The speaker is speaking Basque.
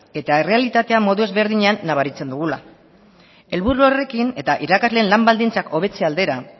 eta errealitatea modu ezberdinean nabaritzen dugula helburu horrekin eta irakasleen lan baldintzak hobetze aldera